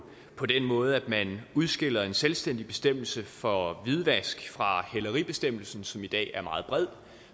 på den måde at man udskiller en selvstændig bestemmelse for hvidvask fra hæleribestemmelsen som i dag er meget bred